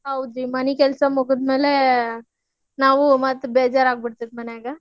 ಹೌದ್ರಿ ಮನಿ ಕೆಲ್ಸಾ ಮುಗದ್ಮ್ಯಾಲೆ ನಾವು ಮತ್ತ್ ಬೇಜಾರ್ ಆಗಿಬಿಡ್ತೇತಿ ಮನ್ಯಾಗ.